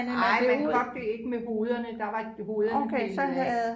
Nej man kogte det ikke med hovederne der var hovederne pillet af